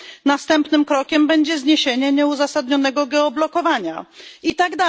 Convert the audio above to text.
Następnym krokiem będzie zniesienie nieuzasadnionego geoblokowania itd.,